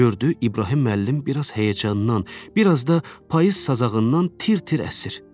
Gördü İbrahim müəllim biraz həyəcandan, biraz da payız sazağından tir-tir əsir.